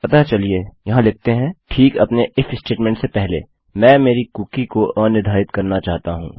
अतः चलिए यहाँ लिखते हैं ठीक अपने इफ स्टेटमेंट से पहले मैं मेरी कुकी को अनिर्धारित करना चाहता हूँ